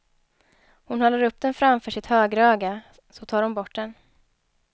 Hon håller upp den framför sitt högra öga, så tar hon bort den.